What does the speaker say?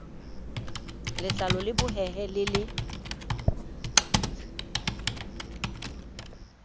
letlalo le bohehe le le